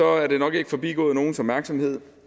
er det nok ikke forbigået nogens opmærksomhed